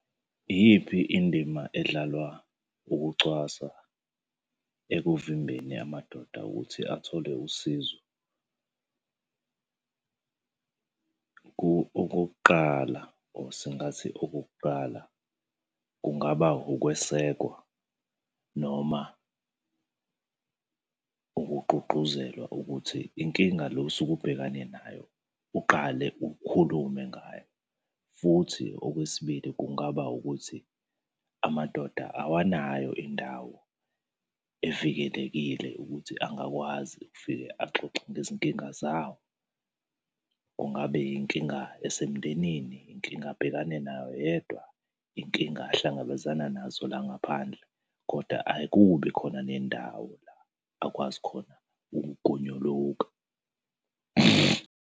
Iyiphi indima edlalwa ukucwasa ekuvimbeni amadoda ukuthi athole usizo? Okokuqala or singathi okokuqala kungaba ukwesekwa noma ukugqugquzelwa ukuthi inkinga le osuke ubhekane nayo, uqale ukhulume ngayo, futhi okwesibili kungaba ukuthi, amadoda awunayo indawo evikelekile ukuthi angakwazi ukufike axoxe ngezinkinga zawo. Kungabe yinkinga esemndenini, inkinga abhekane nayo yedwa, inkinga ahlangabezana nazo la ngaphandle? Kodwa akubi khona nendawo la akwazi khona ukugonyuluka.